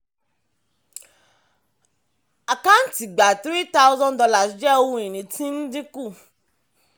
àkáǹtí gbà thre thousand dollar jẹ́ ohun ìní tí ń dínkù.